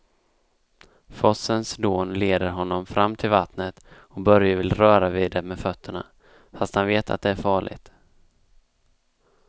Forsens dån leder honom fram till vattnet och Börje vill röra vid det med fötterna, fast han vet att det är farligt.